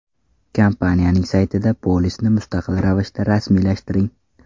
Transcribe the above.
Kompaniyaning saytida polisni mustaqil ravishda rasmiylashtiring!